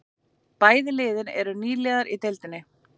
Bæði liðin eru nýliðar í deildinni